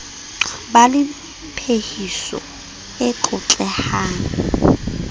ba le phehiso e tlotlehang